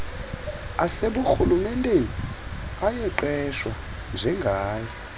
aseburhulumenteni ayaqeshwa njengaye